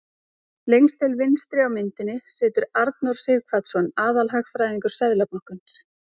Lengst til vinstri á myndinni situr Arnór Sighvatsson, aðalhagfræðingur Seðlabankans.